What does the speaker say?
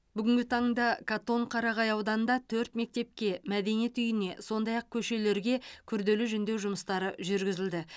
бүгінгі таңда катонқарағай ауданында төрт мектепке мәдениет үйіне сондай ақ көшелерге күрделі жөндеу жұмыстары жүргізілді